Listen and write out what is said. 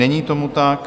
Není tomu tak.